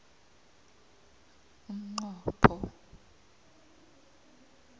umnqopho